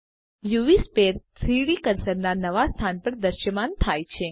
UV sphere 3ડી કર્સરના નવા સ્થાન પર દ્રશ્યમાન થાય છે